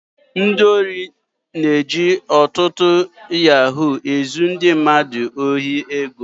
Ndị ohi na-eji ọtụtụ yahoo ezu ndị mmadụ ohi ego